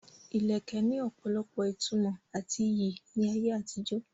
Ilẹ̀kẹ̀ ní opolopo ìtumò àti iyì ní ayé àtijó.